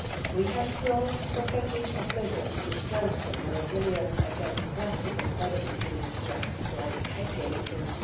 We have brought in a package of measures to strengthen resilience against classical cybersecurity threats, like hacking in